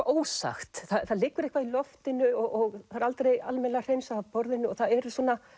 ósagt það liggur eitthvað í loftinu og það er aldrei almennilega hreinsað af borðinu og það eru